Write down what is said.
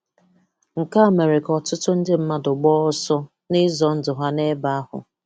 Nke a mere ka ọtụtụ ndị mmàdù gbaa ọsọ n’ị̀zọ ndụ ha n’ebe ahụ.